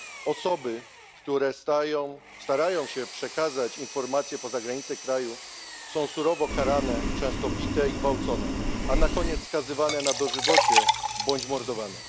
Osoby, które starają się przekazać informacje poza granice kraju, są surowo karane, często bite i gwałcone, a na koniec skazywane na dożywocie bądź mordowane.